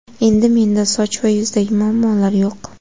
Endi menda soch va yuzdagi muammolar yo‘q!.